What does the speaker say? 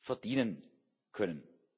verdienen können.